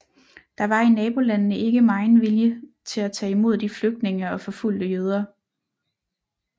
Der var i nabolandene ikke megen vilje til at tage imod de flygtende og forfulgte jøder